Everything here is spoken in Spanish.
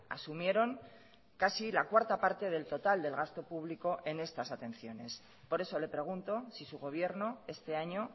asumieron casi la cuarta parte del total del gasto público en estas atenciones por eso le pregunto si su gobierno este año